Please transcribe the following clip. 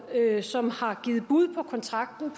som har givet bud på kontrakten